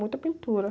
Muita pintura.